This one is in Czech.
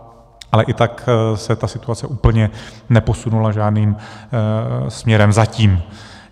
Ale i tak se ta situace úplně neposunula žádným směrem, zatím.